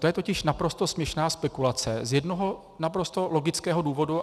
To je totiž naprosto směšná spekulace z jednoho naprosto logického důvodu.